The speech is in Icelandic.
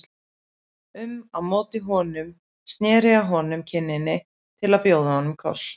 um á móti honum og sneri að honum kinninni til að bjóða honum koss.